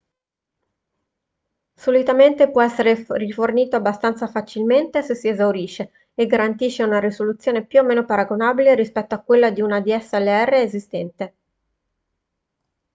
solitamente può essere rifornito abbastanza facilmente se si esaurisce e garantisce una risoluzione più o meno paragonabile rispetto a quella di una dslr esistente